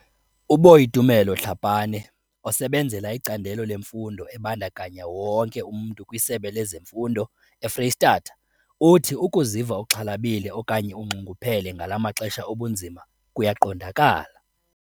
UBoitumelo Tlhapane, osebenzela iCandelo leMfundo eBandakanya wonke umntu kwiSebe lezeMfundo eFreyistatha, uthi ukuziva uxhalabile okanye unxunguphele ngala maxesha obunzima kuyaqondakala.